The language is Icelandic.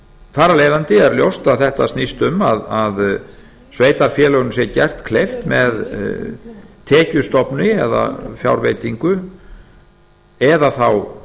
af leiðandi er ljóst að þetta snýst um að sveitarfélögunum sé gert kleift með tekjustofni eða fjárveitingu eða þá